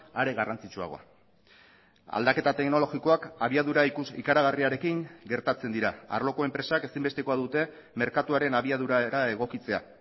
are garrantzitsuagoa aldaketa teknologikoak abiadura ikaragarriarekin gertatzen dira arloko enpresak ezinbestekoa dute merkatuaren abiadura era egokitzea